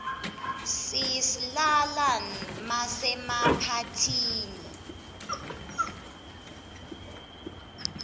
siyislala masemaphathini